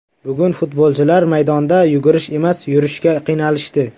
Bugun futbolchilar maydonda yugurish emas, yurishga qiynalishdi.